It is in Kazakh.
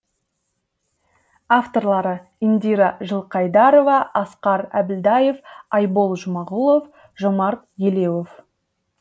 авторлары индира жылқайдарова асқар әбілдаев айбол жұмағұлов жомарт елеуов